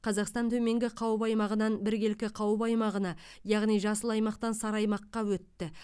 қазақстан төменгі қауіп аймағынан біркелкі қауіп аймағына яғни жасыл аймақтан сары аймаққа өтті